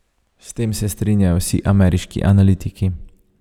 S tem se strinjajo vsi ameriški analitiki.